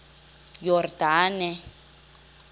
yordane